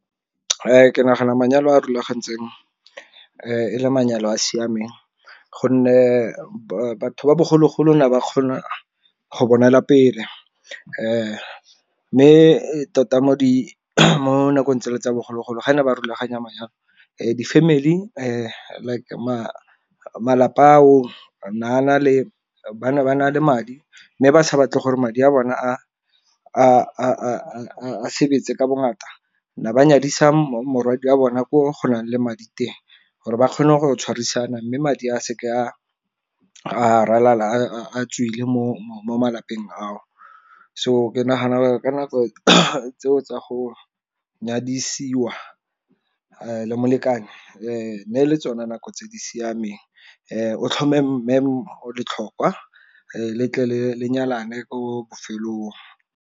Ke nagana manyalo a a rulagantsweng e le manyalo a a siameng gonne batho ba bogologolo ne ba kgona go bonela pele, mme tota mo di mo nakong tsele tsa bogologolo gane ba rulaganya menyalo di-family like malapa a o ba na le madi mme ba sa batle gore madi a bone a a sebetse ka bongata. Ne banyadisa morwadia bona ko go na leng madi teng, gore ba kgone go tshwarisana, mme madi a seke a ralala a tswile mo malapeng a o. So ke nagana ka nako tseo tsa go nyadisiwa le molekane ne le tsone nako tse di siameng o tlhome mme letlhokwa letle le nyalane ko bofelong.